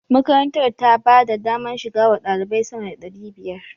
Makarantar ta ba da daman shiga wa ɗalibai sama da ɗari biyar.